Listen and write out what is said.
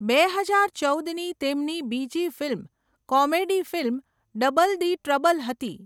બે હજાર ચૌદની તેમની બીજી film comedy film 'double di trouble' હતી.